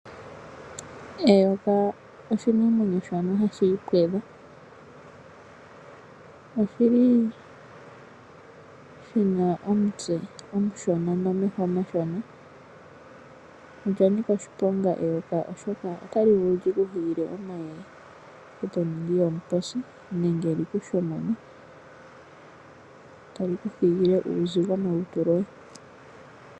Eyoka oshinamwenyo shono hashi ipwedha. Oshi li shina omutse omushona nomeho omashona. Olya nika oshiponga eyoka oshoka otali vulu lyi ku hilile omayeye e to ningi omuposi, nenge lyi ku shomone tali ku thigile uuzigo molutu loye.